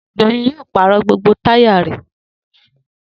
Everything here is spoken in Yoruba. Doyin yóò pàrọ̀ gbogbo táyà rẹ̀